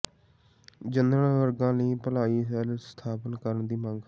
general ਵਰਗਾਂ ਲਈ ਭਲਾਈ ਸੈੱਲ ਸਥਾਪਤ ਕਰਨ ਦੀ ਮੰਗ